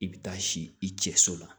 I bɛ taa si i cɛ so la